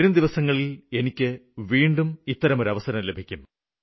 വരുംദിനങ്ങളില് എനിക്ക് വീണ്ടും ഒരവസരം ലഭിക്കും